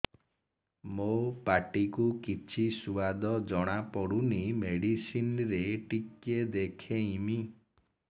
ମୋ ପାଟି କୁ କିଛି ସୁଆଦ ଜଣାପଡ଼ୁନି ମେଡିସିନ ରେ ଟିକେ ଦେଖେଇମି